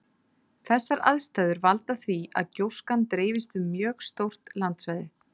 Þessar aðstæður valda því að gjóskan dreifist um mjög stórt landsvæði.